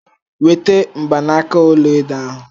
Weta mgbanaka ọla edo ahu.